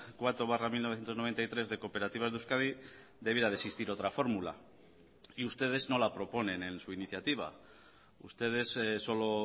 cuatro barra mil novecientos noventa y tres de cooperativas de euskadi debiera de existir otra fórmula y ustedes no la proponen en su iniciativa ustedes solo